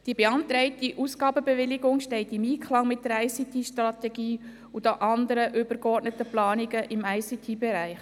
Die beantragte Ausgabenbewilligung steht im Einklang mit der ICT-Strategie und den anderen übergeordneten Planungen im ICT-Bereich.